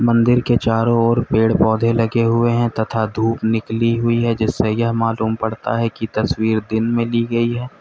मंदिर के चारों ओर पेड़-पौधे लगे हुए हैं तथा धूप निकली हुई है जिससे यह मालूम पड़ता है कि तस्वीर दिन में ली गई है।